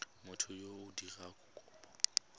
motho yo o dirang kopo